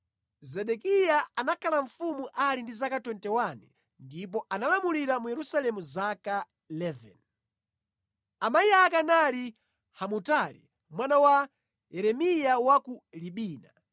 Zedekiya anakhala mfumu ali ndi zaka 21 ndipo analamulira mu Yerusalemu zaka 11. Amayi ake anali Hamutali mwana wa Yeremiya wa ku Libina.